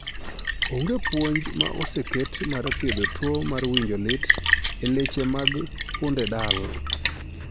Onge puonj ma oseket mar thiedho tuo mar winjo lit e leche mag pudendal